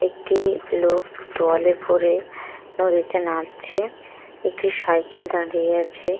একটি লোক তোয়ালে পরে নদীতে নাবছে একটি সাইকেল দাঁড়িয়ে আছে।